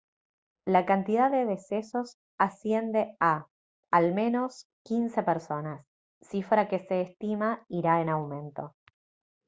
la cantidad de decesos asciende a al menos 15 personas cifra que se estima irá en aumento